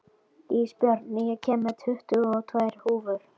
Ísbjörn, ég kom með tuttugu og tvær húfur!